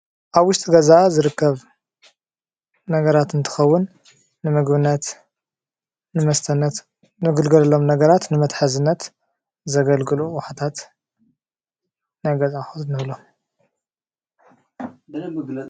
ኣብ ውሽጢ ገዛ ዝርከብ ነገራት እንትኸውን ንምግብነት ፣ ንመስተነት ንግልገለሎም ነገራት ንመተሐዝነት ዘገልግሉ ኣቁሑታት ናይ ገዛ ኣቂሑ ንብሎም።